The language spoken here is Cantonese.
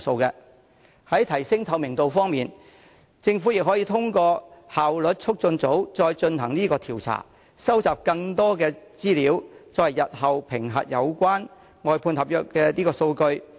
在提升透明度方面，政府可透過效率促進組再進行調查，收集更多資料，作為日後評核有關外判合約的數據。